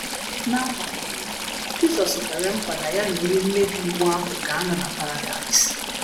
na agbanyeghi, Jisọs kwere nkwa na ya na onye mmebi iwu ahụ ga - anọ na Paradaịs.